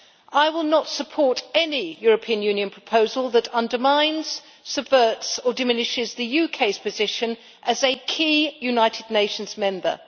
I will not support any European Union proposal that undermines, subverts or diminishes the UK's position as a key United Nations member.